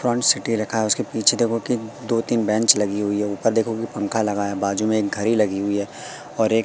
रखा है उसके पीछे देखो की दो तीन बेंच लगी हुई है ऊपर देखो कि पंखा लगा है बाजू में एक घरी लगी हुई है और एक--